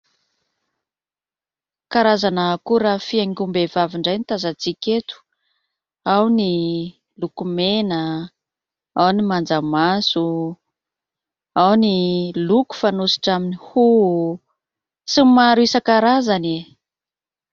Karazana akora fihaingom-behivavy indray ny tazantsika eto, ao ny lokomena, ao ny manjamaso, ao ny loko fanositra amin'ny hoho sy n'y maro isan-karazany e !